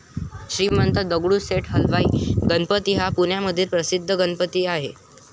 श्रीमंत दगडूशेठ हलवाई गणपती हा पुण्यामधील प्रसिद्ध गणपती आहे.